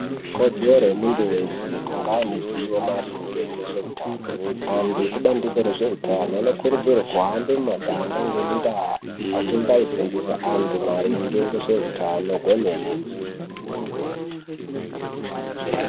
Ikodzero yemuntu wese kunge aine ziwo maringe ngezveutano antu ekubandiko rwzveutano anokurudzirwe kuhambe mumaganga ngemundaa achimbaifundisa angu maringe nvezveutano kwemene.